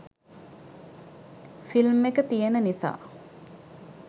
film එක තියෙන නිසා